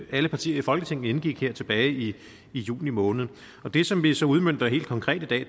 alle partier i folketinget indgik her tilbage i juni måned det som vi så udmønter helt konkret i dag